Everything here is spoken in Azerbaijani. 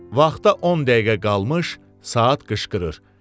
Vaxta 10 dəqiqə qalmış saat qışqırır.